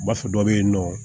Ba fɔ dɔ be yen nɔ